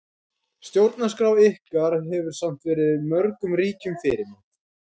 Stjórnarskrá ykkar hefur samt verið mörgum ríkjum fyrirmynd.